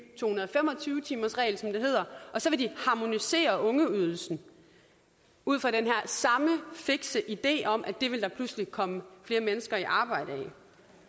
to hundrede og fem og tyve timersregel som det hedder og så vil de harmonisere ungeydelsen ud fra den her samme fikse idé om at det vil der pludselig komme flere mennesker i arbejde